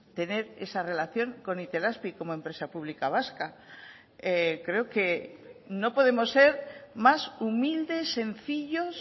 tener esa relación con itelazpi como empresa pública vasca creo que no podemos ser más humildes sencillos